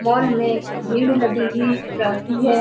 mall मे भीड़ लगी हुई रहती है --